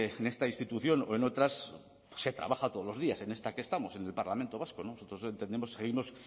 en esta institución o en otras se trabaja todos los días en esta que estamos en el parlamento vasco nosotros entendemos y seguimos